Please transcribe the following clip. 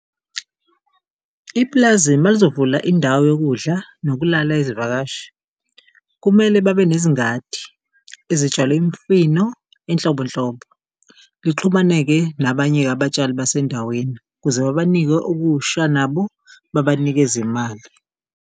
Ipulazi malizovula indawo yokudla nokulala izivakashi, kumele babe nezingadi ezitshale imifino inhlobonhlobo, lixhumane-ke nabanye-ke abatshali basendaweni ukuze babanike okusha nabo babanikeze imali.